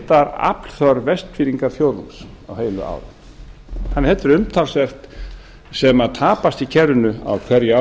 heildaraflþörf vestfirðingafjórðungs á heilu ári þannig að þetta er umtalsvert sem tapast í kerfinu á hverju